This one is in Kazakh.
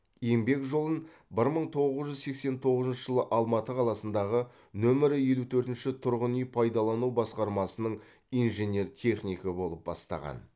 еңбек жолын бір мың тоғыз жүз сексен тоғызыншы жылы алматы қаласындағы нөмірі елу төртінші тұрғын үй пайдалану басқармасының инженер технигі болып бастаған